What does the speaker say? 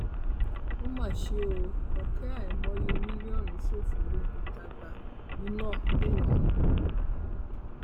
ó mà ṣe o ọkẹ àìmọye mílíọnù ṣòfò níbi tágbá iná ńlọrọrìn